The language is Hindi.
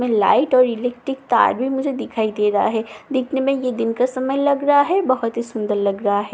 मे लाइट और इलेक्ट्रिक तार भी मुझे दिखाई दे रहा है देखने में ये दिन का समय लग रहा है बहोत ही सुंदर लग रहा है।